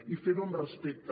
i fer ho amb respecte